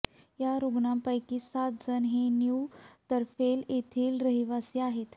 या रुग्णांपैकी सात जण हे न्यु तारफैल येथील रहिवासी आहेत